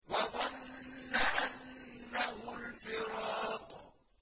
وَظَنَّ أَنَّهُ الْفِرَاقُ